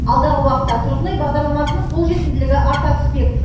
алдағы уақытта тұрғын үй бағдарламасының қолжетімділігі арта түспек